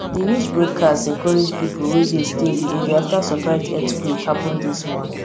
di news broadcast encourage people wey dey stay di area after surprise earthquake happen this morning